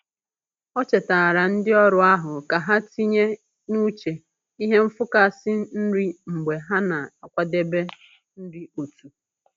O chetaara ndị ọrụ ahụ ka ha tinye n'uche ihe nfụkasị nri mgbe ha na-akwadebe nri otu.